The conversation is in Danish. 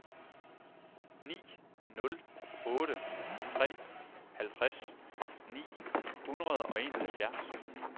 ni nul otte tre halvtreds ni hundrede og enoghalvfjerds